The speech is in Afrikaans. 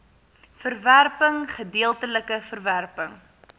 verwerping gedeeltelike verwerping